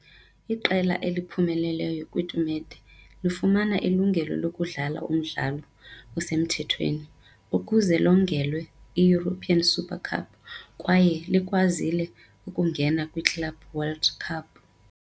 Iqela eliphumeleleyo kwitumente lifumana ilungelo lokudlala umdlalo osemthethweni ukuze liwongelwe iEuropean Super Cup kwaye likwazile ukungena kwiClub World Cup .